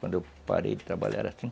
Quando eu parei de trabalhar era cinco